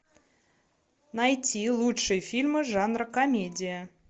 найти лучшие фильмы жанра комедия